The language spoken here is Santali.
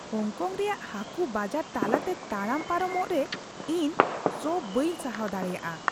ᱦᱚᱝᱠᱚᱝ ᱨᱮᱭᱟᱜ ᱦᱟᱠᱩ ᱵᱟᱡᱟᱨ ᱛᱟᱞᱟᱛᱮ ᱛᱟᱲᱟᱢ ᱯᱟᱨᱚᱢᱚᱜ ᱨᱮ ᱤᱧ ᱥᱚ ᱵᱟᱹᱧ ᱥᱟᱦᱟᱣ ᱫᱟᱲᱮᱭᱟᱜᱼᱟ ᱾